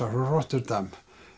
frá Rotterdam